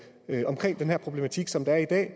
omkring den her problematik som der er i dag